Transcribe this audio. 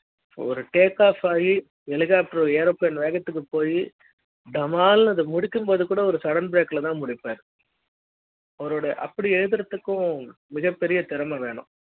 ஒரு takeoff ஆகி helicopter airplane வேகத்துக்கு போயி டமால் அது முடிக்கும்போது கூட ஒரு sudden break ல தான் முடிப்பாரு